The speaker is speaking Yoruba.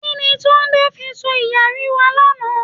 Kini Túndé fi kó iyanrìn wá lánàá?